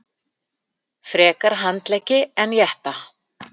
Frekar handleggi en jeppa